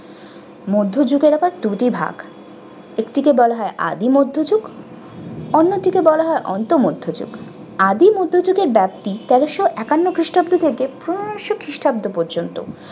মধ্যযুগের আবার দুটি ভাগ। একটি কে বলা হয় আদি মধ্যযুগ অন্যটিকে বলা হয় অন্ত মধ্যযুগ। আদি মধ্যযুগের ব্যাপ্তি তেরশো একান্ন খ্রিস্টাব্দ থেকে পনেরোশো খ্রিস্টাব্দ পর্যন্ত-